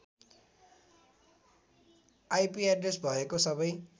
IP address भएको सबै